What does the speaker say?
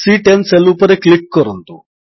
ସି10 cell ଉପରେ click କରନ୍ତୁ